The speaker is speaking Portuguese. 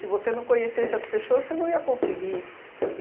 você não conhecesse as pessoas, você não ia conseguir.